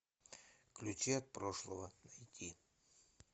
ключи от прошлого найти